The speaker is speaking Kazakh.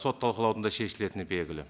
сот талқылауында шешілетіні белгілі